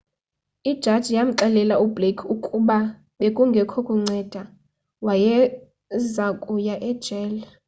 ijaji yamxelela u-blake ukuba bekungekho kunceda wayezakuya ejele